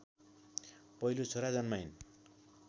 पहिलो छोरा जन्माइन्